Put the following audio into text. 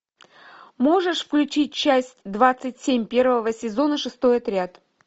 можешь включить часть двадцать семь первого сезона шестой отряд